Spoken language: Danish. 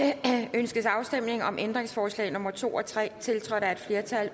ønskes afstemning om ændringsforslag nummer to og tre tiltrådt af et flertal